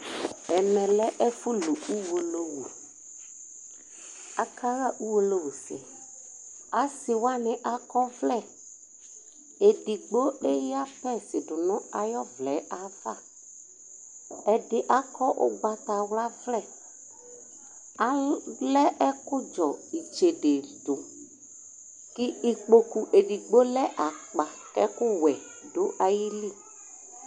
ɛmɛ lɛ ɛfu lu uwolowu aka ɣa uwolowu sɛ ase wani akɔ ɔvlɛ edigbo eya pɛs do no ayi ɔvlɛ ava ɛdi akɔ ugbatawla vlɛ alɛ ɛkò dzɔ itsede do kò ikpoku edigbo lɛ akpa k'ɛkó wɛ do ayili